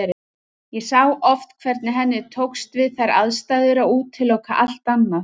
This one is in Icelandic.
Ég sá oft hvernig henni tókst við þær aðstæður að útiloka allt annað.